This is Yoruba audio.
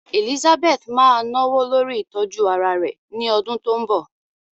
Elizabeth máa náwó lórí ìtọ́jú ara rẹ̀ ní ọdún tó ń bọ̀.